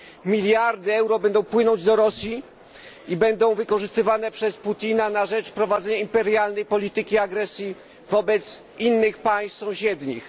Miliardy euro będą płynąć do Rosji i będą wykorzystywane przez Putina na rzecz prowadzenia imperialnej polityki agresji wobec innych państw sąsiednich.